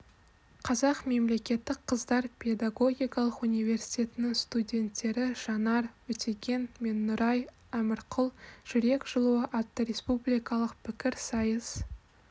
қазақ мемлекеттік қыздар педагогикалық университетінің студенттері жанар өтеген мен нұрай әмірқұл жүрек жылуы атты республикалық пікірсайыс